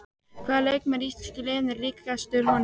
Hvaða leikmaður í íslenska liðinu er líkastur honum?